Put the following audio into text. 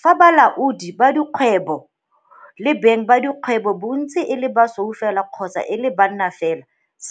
Fa balaodi ba dikgwebo le beng ba dikgwebo bontsi e le basweu fela kgotsa e le banna fela,